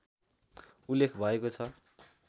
उल्लेख भएको छ